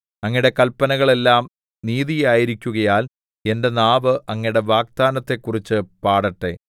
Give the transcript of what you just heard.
അങ്ങയുടെ കല്പനകൾ എല്ലാം നീതിയായിരിക്കുകയാൽ എന്റെ നാവ് അങ്ങയുടെ വാഗ്ദാനത്തെക്കുറിച്ച് പാടട്ടെ